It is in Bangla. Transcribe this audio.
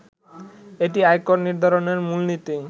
এটি আয়কর নির্ধারণের মূলনীতি